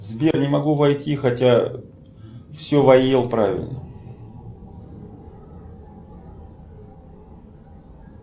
сбер не могу войти хотя все вводил правильно